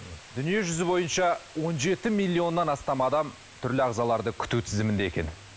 дүниежүзі бойынша он жеті миллионнан астам адам түрлі ағзаларды күту тізімінде екен